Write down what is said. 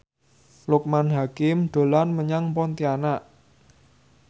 Loekman Hakim dolan menyang Pontianak